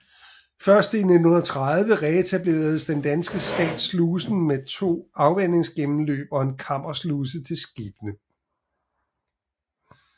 Først i 1930 reetablerede den danske stat slusen med to afvandingsgennemløb og en kammersluse til skibene